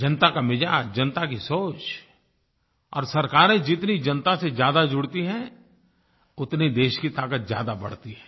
जनता का मिजाज जनता की सोच और सरकारें जितनी जनता से ज्यादा जुड़ती हैं उतनी देश की ताकत ज्यादा बढ़ती है